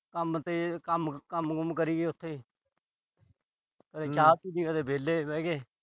ਕੰਮ ਤੇ ਅਹ ਕੰਮ ਕੂੰਮ ਕਰੀਏ ਉਥੇ। ਕਦੀ ਚਾਹ ਪੀ ਲਈ, ਕਦੇ ਵਿਹਲੇ ਬੈਠ ਗਏ।